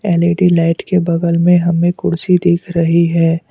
L E D light के बगल में हमें कुर्सी दिख रही है।